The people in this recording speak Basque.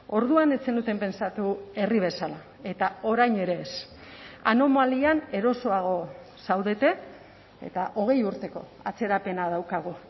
orduan ez zenuten pentsatu herri bezala eta orain ere ez anomalian erosoago zaudete eta hogei urteko atzerapena daukagu